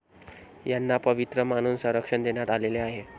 यांना पवित्र मानून संरक्षण देण्यात आलेले आहे.